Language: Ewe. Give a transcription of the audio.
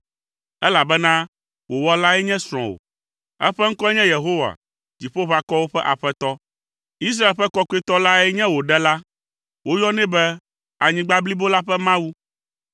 elabena wò wɔlae nye srɔ̃wò. Eƒe ŋkɔe nye Yehowa, Dziƒoʋakɔwo ƒe Aƒetɔ. Israel ƒe Kɔkɔetɔ lae nye wò Ɖela. Woyɔnɛ be anyigba blibo la ƒe Mawu.